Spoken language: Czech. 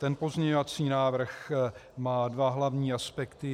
Ten pozměňovací návrh má dva hlavní aspekty.